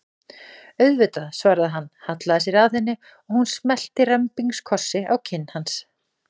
Auðvitað, svaraði hann, hallaði sér að henni og hún smellti rembingskossi á kinn hans.